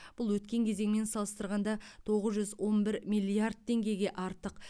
бұл өткен кезеңмен салыстырғанда тоғыз жүз он бір миллиард теңгеге артық